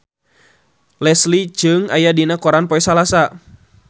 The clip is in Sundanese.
Leslie Cheung aya dina koran poe Salasa